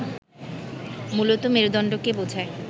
মূলত মেরুদণ্ডকে বোঝায়